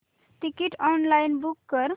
ticket online book कर